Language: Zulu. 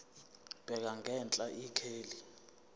bheka ngenhla ikheli